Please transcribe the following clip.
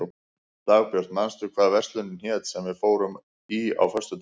Dagbjörg, manstu hvað verslunin hét sem við fórum í á föstudaginn?